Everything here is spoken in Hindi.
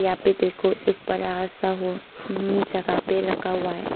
अभी देखो एक बरा सा जगह पे रखा हुआ है।